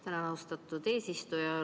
Tänan, austatud eesistuja!